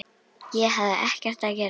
Ég hafði ekkert að gera.